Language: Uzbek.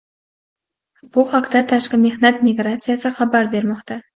Bu haqda Tashqi mehnat migratsiyasi xabar bermoqda.